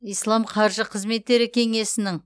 ислам қаржы қызметтері кеңесінің